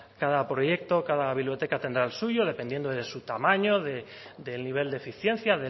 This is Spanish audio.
cada proyecto o cada biblioteca tendrá el suyo dependiendo de su tamaño del nivel de eficiencia